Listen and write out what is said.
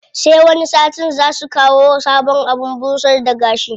Sai wani satin zaa su kawo sabon abin busar da gashi.